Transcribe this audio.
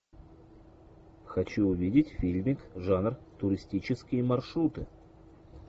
хочу увидеть фильмик жанр туристические маршруты